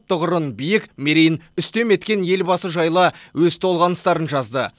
тұғырын биік мерейін үстем еткен елбасы жайлы өз толғаныстарын жазды